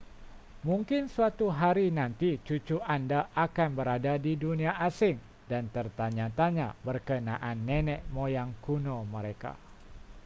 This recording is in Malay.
mungkin suatu hari nanti cucu anda akan berada di dunia asing dan tertanya-tanya berkenaan nenek moyang kuno mereka